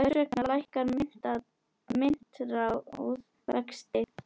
Hvers vegna lækkar myntráð vexti?